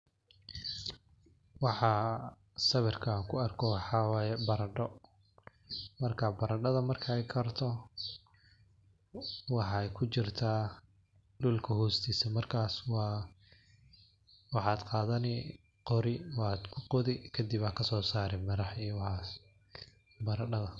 Waxaa sawirkan kuarko waxaa waye baradho. marka baradhada markay karto waxaay kujirtah dhulka hostisa. Markas waxad qadani qori, wad qodhi kadib ad kaso sari miraha iyo waxas baradhada.